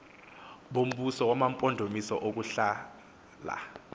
bombuso wamampondomise ukuhlala